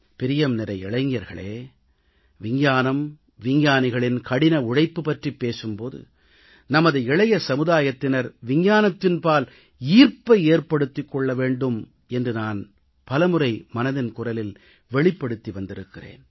பிரியம்நிறை இளைஞர்களே விஞ்ஞானம் விஞ்ஞானிகளின் கடின உழைப்பு பற்றிப் பேசும் போது நமது இளைய தலைமுறையினர் விஞ்ஞானத்தின்பால் ஈர்ப்பை ஏற்படுத்திக் கொள்ள வேண்டும் என்று பல முறை மனதின் குரலில் வெளிப்படுத்தி வந்திருக்கிறேன்